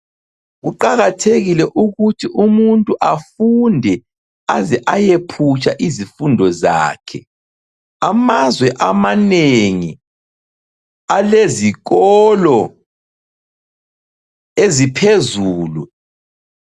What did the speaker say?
Kuqakathekile ukuthi umuntu afunde aze ayephutsha izifundo zakhe. Amazwe amanegi alezikolo eziphezulu.